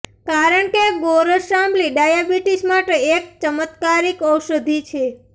કારણ કે ગોરસ આંબલી ડાયાબિટીસ માટે એક ચમત્કારિક ઔષધી છે